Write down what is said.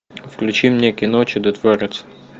включи мне кино чудотворец